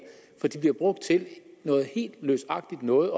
for de bliver brugt til noget helt løsagtigt noget